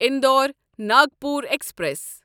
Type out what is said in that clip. Indore Nagpur express